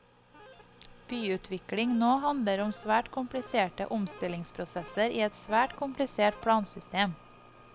Byutvikling nå handler om svært kompliserte omstillingsprosesser i et svært komplisert plansystem.